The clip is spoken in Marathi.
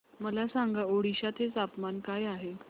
मला सांगा ओडिशा चे तापमान काय आहे